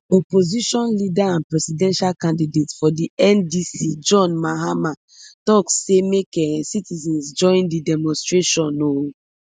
opposition leader and presidential candidate for di ndc john mahama tok say make um citizens join di demonstration um